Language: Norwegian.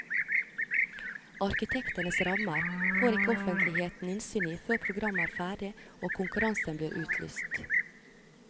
Arkitektenes rammer får ikke offentligheten innsyn i før programmet er ferdig og konkurransen blir utlyst.